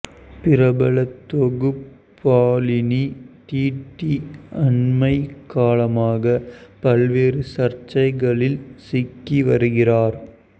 பிரபல தொகுப்பாளினி டிடி அண்மைக் காலமாக பல்வேறு சர்ச்சைகளில் சிக்கி வருகிறார்